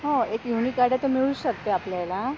हो हो एक युनिक आयडिया तर मिळूच शकते आपल्याला.